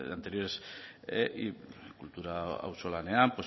anteriores y kultura auzolanean